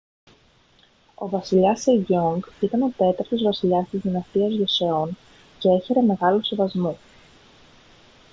ο βασιλιάς σεγιόνγκ ήταν ο τέταρτος βασιλιάς της δυναστείας γιοσεόν και έχαιρε μεγάλου σεβασμού